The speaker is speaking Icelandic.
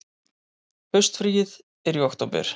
Haustfríið er í október.